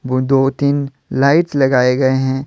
दो तीन लाइट्स लगाए गए हैं।